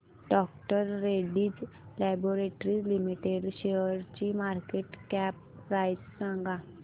डॉ Reddy's laboratories limited शेअरची market cap price सांगा